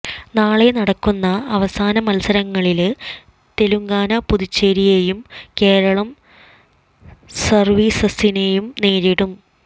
നാളെ നടക്കുന്ന അവസാന മത്സരങ്ങളില് തെലങ്കാന പുതുച്ചേരിയേയും കേരളം സര്വീസസിനെയും നേരിടും